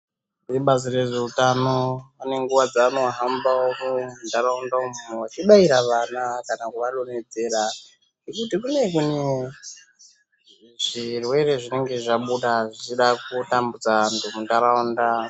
Vebazi rezveutano ane nguwa dzaanohambawo mumantaraunda umu veibaira vana kana kuvadonhedzera mitombo iya imweni zvirwere zvinenge zvabuda zvichida kutambudza vantu muntaraunda.